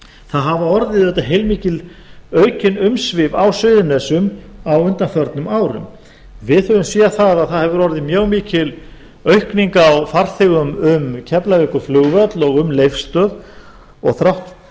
það hafa orðið auðvitað heilmikil aukin umsvif á suðurnesjum á undanförnum árum við höfum séð það að það hefur orðið mjög mikil aukning á farþegum um keflavíkurflugvöll og um leifsstöð og